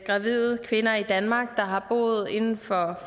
gravide kvinder i danmark der har boet inden for